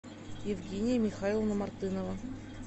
евгения михайловна мартынова